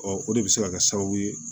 o de bɛ se ka kɛ sababu ye